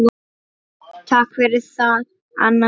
Takk fyrir það, Anna mín.